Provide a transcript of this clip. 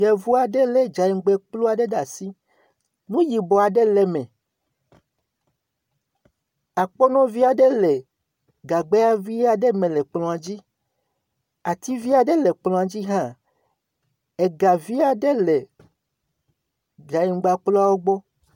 Yevu aɖe le gaŋgbakpua aɖe ɖe asi. Nu yibɔ aɖe le eme. Akpɔnɔ vi aɖe le gagba vi aɖe me le kplɔ̃a dzi. Ati vi aɖe le kplɔ̃a dzi hã. Ga vi aɖe le gaŋgbakpua gbɔ.